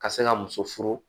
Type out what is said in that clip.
Ka se ka muso furu